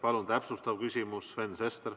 Palun täpsustav küsimus, Sven Sester!